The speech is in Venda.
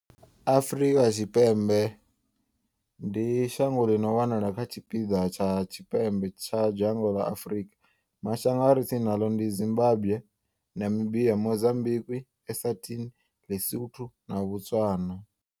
Afrika Tshipembe, ndi shango ḽi no wanala kha tshipiḓa tsha tshipembe tsha dzhango ḽa Afrika. Mashango a re tsini naḽo ndi Zimbagwe, Namibia, Mozambikwi, Eswatini, Li-Sotho na Botswana.